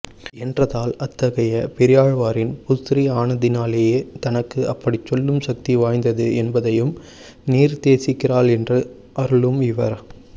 என்றதால் அத்தைகைய பெரியாழ்வாரின் புத்ரி ஆனதினாலேயே தனக்கு அப்படிச் சொல்லும் சக்தி வாய்த்தது என்பதையும் நிர்த்தேசிக்கிறாள் என்று அருளும் இவர்